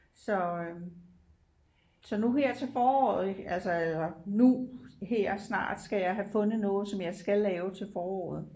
Så øh så nu her til foråret ik altså eller nu her snart skal jeg have fundet noget som jeg skal lave til foråret